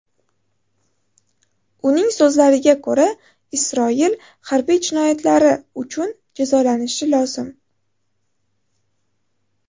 Uning so‘zlariga ko‘ra, Isroil harbiy jinoyatlari uchun jazolanishi lozim.